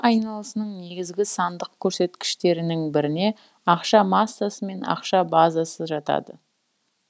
айналысының негізгі сандық көрсеткіштерінің біріне ақша массасы мен ақша базасы жатады